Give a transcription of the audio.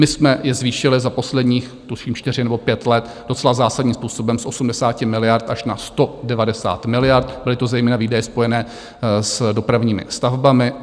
My jsme je zvýšili za posledních tuším čtyři nebo pět let docela zásadním způsobem z 80 miliard až na 190 miliard, byly to zejména výdaje spojené s dopravními stavbami.